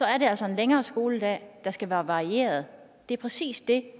er det altså en længere skoledag der skal være varieret det er præcis det